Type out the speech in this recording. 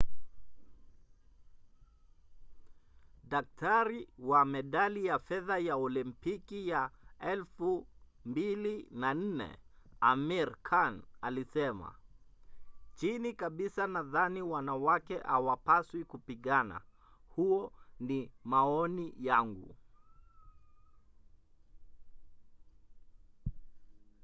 daktari wa medali ya fedha ya olimpiki ya 2004 amir khan alisema chini kabisa nadhani wanawake hawapaswi kupigana. huo ni maoni yangu.